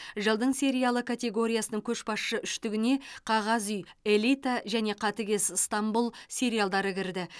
жылдың сериалы категориясының көшбасшы үштігіне қағаз үй элита және қатыгез ыстанбұл сериалдары кірді